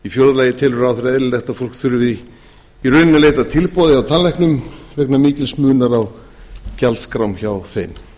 telur ráðherra eðlilegt að fólk þurfi í rauninni að leita tilboða hjá tannlæknum vegna mikils munar á gjaldskrám hjá þeim